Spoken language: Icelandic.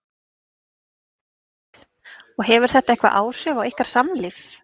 Hödd: Og hefur þetta eitthvað áhrif á ykkar samlíf?